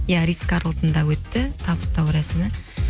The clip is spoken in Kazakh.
иә ритс карлотанда өтті табыстау рәсімі